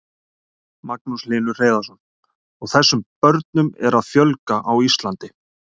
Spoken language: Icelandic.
Magnús Hlynur Hreiðarsson: Og þessum börnum er að fjölga á Íslandi?